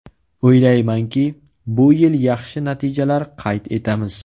O‘ylaymanki, bu yil yaxshi natijalar qayd etamiz.